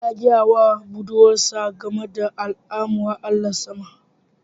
Namo ya gaya wa budurwarsa game da al'amuran Allahn sama